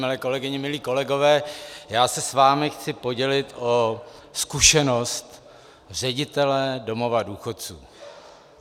Milé kolegyně, milí kolegové, já se s vámi chci podělit o zkušenost ředitele domova důchodců.